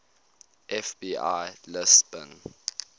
fbi lists bin